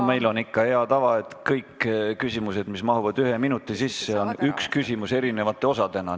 Meil on ikka hea tava, et kõiki küsimusi, mis mahuvad ühe minuti sisse, käsitatakse ühe küsimuse eri osadena.